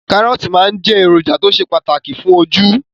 Kàrọ́ọ̀tì máa jẹ́ èròjà tó ṣe pàtàkì fún ojú